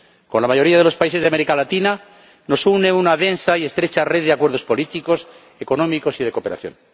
Con la mayoría de los países de América Latina nos une una densa y estrecha red de acuerdos políticos, económicos y de cooperación.